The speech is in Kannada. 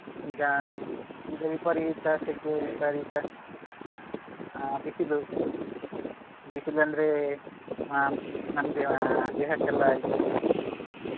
ಈಗ ಈಗ ವಿಪರೀತ ಸೆಕೆ ವಿಪರೀತ ಅಹ್ ಬಿಸಿಲು ಬಿಸಿಲು ಅಂದ್ರೆ ಅಹ್ ನಮ್ದೇ ದೇಹಕ್ಕೆಲ್ಲ ಇದು